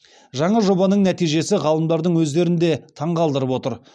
жаңа жобаның нәтижесі ғалымдардың өздерін де таңғалдырып отыр